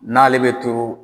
N'ale bɛ turu